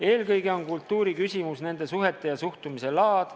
Eelkõige on kultuuri küsimus nende suhete ja suhtumise laad.